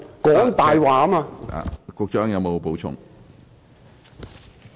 局長，你有否補充？